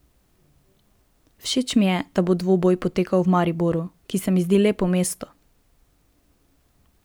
Všeč mi je, da bo dvoboj potekal v Mariboru, ki se mi zdi lepo mesto.